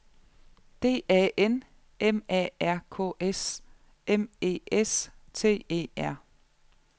D A N M A R K S M E S T E R